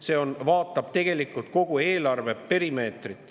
Me vaatasime tegelikult kogu eelarve perimeetrit.